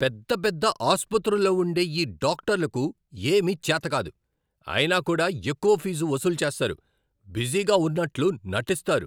పెద్ద పెద్ద ఆసుపత్రుల్లో ఉండే ఈ డాక్టర్లకు ఏమీ చేతకాదు, అయినా కూడా ఎక్కువ ఫీజు వసూలు చేస్తారు, బిజీగా ఉన్నట్లు నటిస్తారు.